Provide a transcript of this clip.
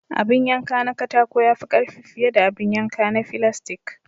Abin yanka na katako ya fi karfi fiye da abin yanka na filastik.